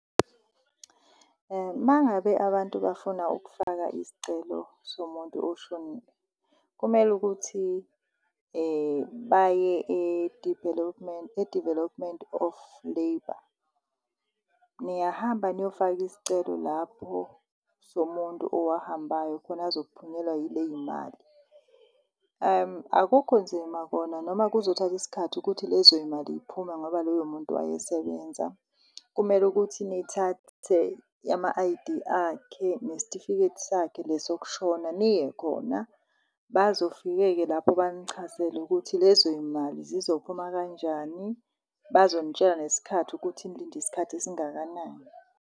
Mangabe abantu bafuna ukufaka isicelo somuntu oshonile kumele ukuthi baye e-Development e-Development of Labour, niyahamba niyofaka isicelo lapho somuntu owahambayo khona azophunyelwa yiley'mali. Akukho nzima kona noma kuzothatha isikhathi ukuthi lezo y'mali y'phume ngoba loyo muntu wayesebenza. Kumele ukuthi nithathe ama-I_D akhe nesitifiketi sakhe lesi sokushona niye khona. Bazofike-ke lapho banichazele ukuthi lezo y'imali zizophuma kanjani, bazonitshela nesikhathi ukuthi nilinde isikhathi esingakanani.